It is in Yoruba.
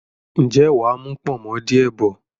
ǹjẹ́ mà á mú “pọ̀nmọ́” díẹ̀ bọ̀?